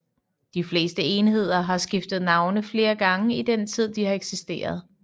De fleste enheder har skiftet navne flere gange i den tid de har eksisteret